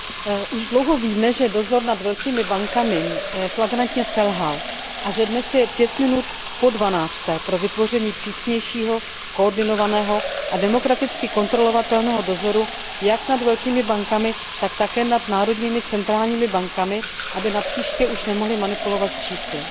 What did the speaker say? Pane předsedající, už dlouho víme, že dozor nad velkými bankami flagrantně selhal a že dnes je pět minut po dvanácté pro vytvoření přísnějšího koordinovaného a demokraticky kontrolovatelného dozoru jak nad velkými bankami, tak také nad národními centrálními bankami, aby napříště už nemohly manipulovat s čísly.